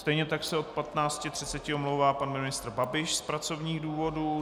Stejně tak se od 15.30 omlouvá pan ministr Babiš z pracovních důvodů.